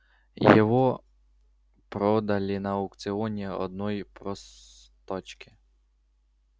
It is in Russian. его продали на аукционе одной простачке